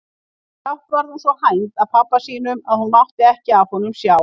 Brátt varð hún svo hænd að pabba sínum að hún mátti ekki af honum sjá.